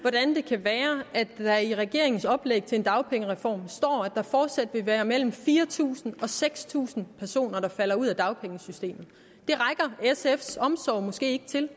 hvordan det kan være at der i regeringens oplæg til en dagpengereform står at der fortsat vil være mellem fire tusind og seks tusind personer der falder ud af dagpengesystemet det rækker sfs omsorg måske ikke til